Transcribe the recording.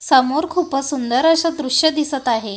समोर खूपच सुंदर असं दृश्य दिसत आहे.